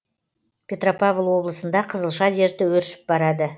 петропавл облысында қызылша дерті өршіп барады